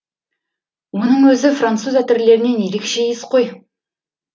мұның өзі француз әтірлерінен ерекше иіс қой